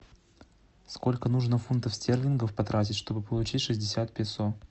сколько нужно фунтов стерлингов потратить чтобы получить шестьдесят песо